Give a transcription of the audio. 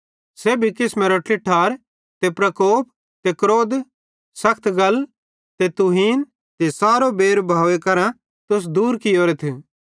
सेब्भी किसमेरी ट्लइठार ते प्रकोप ते क्रोध सखत गल ते तुहीन ते सारो बैरभाव सेइं तुस दूर कियोरेथ